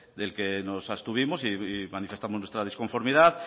del que nos abstuvimos y manifestamos nuestra disconformidad